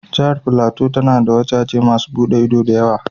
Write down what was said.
Jihar flateau ya na da wajaje masun bude ido da yawa.